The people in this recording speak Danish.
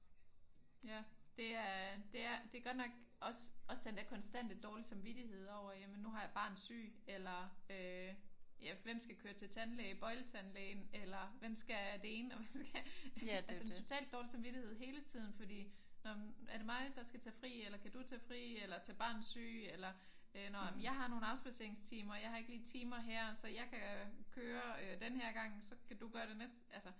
Ja det er det er godt nok. Også den der konstante dårlige samvittighed over jamen nu har jeg barn syg. Eller ja hvem skal køre til tandlægen bøjletandlægen eller hvem skal det ene og hvem skal. Altså totalt dårlig samvittighed hele tiden fordi er det mig der skal tage fri? Eller kan du tage fri? Eller tage barn syg? Eller nå jeg har nogle afspadseringstimer. Jeg har ikke lige timer her så jeg kan køre denne her gang så kan du gøre det næste altså